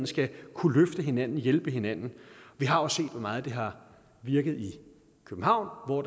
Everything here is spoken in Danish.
skal kunne løfte hinanden og hjælpe hinanden vi har også set hvor meget det har virket i københavn hvor